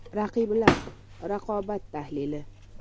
“RAQIBLAR” - Raqobat tahlili.